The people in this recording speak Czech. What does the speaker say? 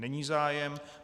Není zájem.